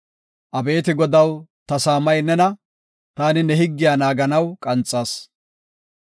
Abeeti Godaw, ta saamay nena; ta ne higgiya naaganaw qanxas.